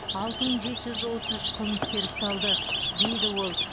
алты мың жеті жүз отыз үш қылмыскер ұсталды дейді ол